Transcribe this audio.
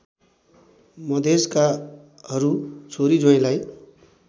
मधेशकाहरू छोरी ज्वाईँलाई